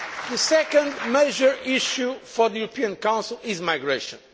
good. The second major issue for the European Council is migration.